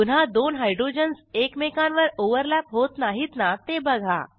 पुन्हा दोन हायड्रोजन्स एकमेकांवर ओव्हरलॅप होत नाहीत ना ते बघा